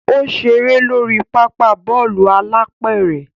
O ṣere lori papa Bọ́ọ̀lù alápẹ̀rẹ̀